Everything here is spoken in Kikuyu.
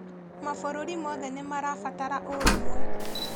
Mabũrũri mothe nĩmarabatara ũrũmwe